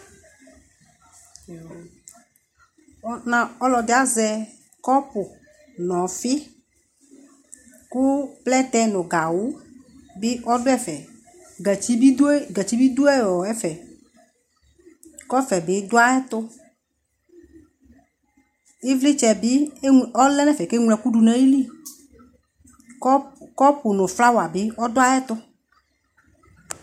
Ɔ na ɔlɔdɩ azɛ kɔpʋ n'ɔfɩ ,kʋ plɛtɛ nʋ gawʋ bɩ ɔdʋ ɛfɛ gatsi bɩ dʋ e gatsi bɩ dʋ ɛ ɔ ɛfɛ Kɔfɛ bɩ dʋ ayɛtʋ ,ɩvlɩtsɛ bɩ ɔlɛ n'ɛfɛ k'eŋloɛkʋ dʋ n'ayili Kɔpʋ nʋ flawa bɩ ɔdʋ ayɛtʋ